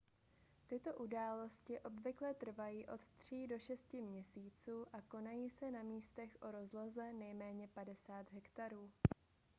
tyto události obvykle trvají od 3 do 6 měsíců a konají se na místech o rozloze nejméně 50 hektarů